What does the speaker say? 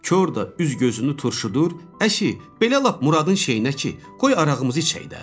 Kor da üz-gözünü turşudur, əşi, belə lap Muradın şeyinə ki, qoy arağımızı içək də.